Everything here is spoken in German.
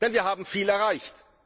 Wir haben viel erreicht.